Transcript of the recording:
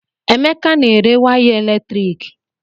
Emeka na-ere waya eletrik